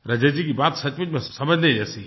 रजत जी की बात सचमुच में समझने जैसी है